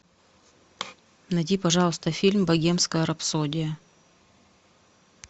найди пожалуйста фильм богемская рапсодия